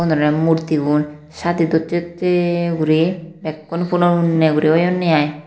Ubun ole murtigun Saadi docce docce guri bekkun punopunne guri oyonde aai.